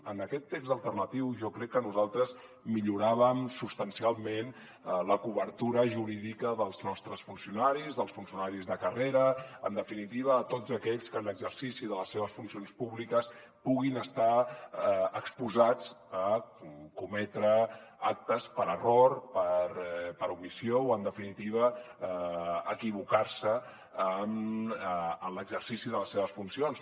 en aquest text alternatiu jo crec que nosaltres milloràvem substancialment la cobertura jurídica dels nostres funcionaris dels funcionaris de carrera en definitiva de tots aquells que en l’exercici de les seves funcions públiques puguin estar exposats a cometre actes per error per omissió o en definitiva equivocar se en l’exercici de les seves funcions